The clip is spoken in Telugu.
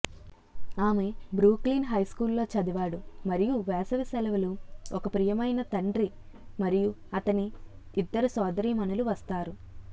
ఆమె బ్రూక్లిన్ హైస్కూలులో చదివాడు మరియు వేసవి సెలవులు ఒక ప్రియమైన తండ్రి మరియు అతని ఇద్దరు సోదరీమణులు వస్తారు